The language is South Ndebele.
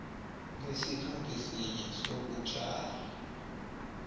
ngesikhathi sinye sokutjala